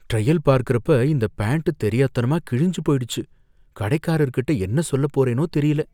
Trial பார்க்கறப்ப இந்த pant தெரியாத்தனமா கிழிஞ்சு போயிடுச்சு. கடைக்காரர்கிட்ட என்ன சொல்லப் போறேனோ தெரியல?